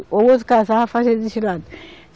O outro casava, fazia desse lado.